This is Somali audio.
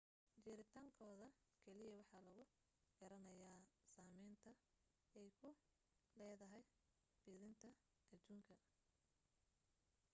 jiritaankooda keliya waxa lagu garanayaa saameynta ay ku leedahay fiditaanka adduunka